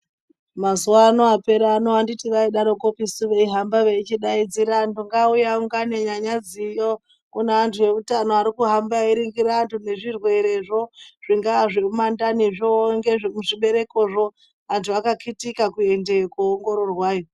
Mazuwaano aperaano anditi vaizodarokopisu veyihamba veyichidaidzira vantu ngavauye vaungane nyanyadziyo kune antu eutano ari kuhamba eyiringira antu ngezvirwerezvo zvingawa zvemumandanizvo ngezvemuzviberekozvo antu akakitike kuendeyo koongororwai.